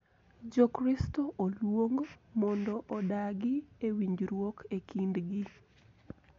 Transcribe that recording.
Jokristo oluong mondo odagi e winjruok e kindgi.